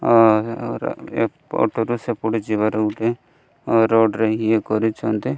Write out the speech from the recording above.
ଆ ଆହୁରି ଏପଟରୁ ସେପଟ ଯିବାର ଗୋଟେ ରୋଡ଼୍ ରେ ଇଏ କରିଚନ୍ତି।